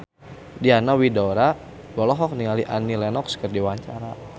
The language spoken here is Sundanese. Diana Widoera olohok ningali Annie Lenox keur diwawancara